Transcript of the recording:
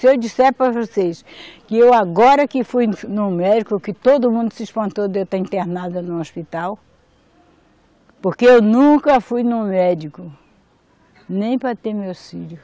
Se eu disser para vocês que eu agora que fui no médico, que todo mundo se espantou de eu estar internada no hospital, porque eu nunca fui no médico, nem para ter meus filhos.